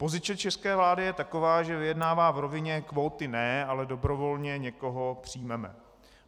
Pozice české vlády je taková, že vyjednává v rovině: kvóty ne, ale dobrovolně někoho přijmeme.